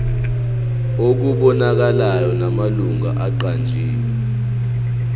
okubonakalayo namalungu aqanjiwe